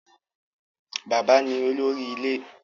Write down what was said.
Bàbá ní olórí ilé